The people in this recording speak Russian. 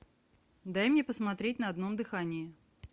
дай мне посмотреть на одном дыхании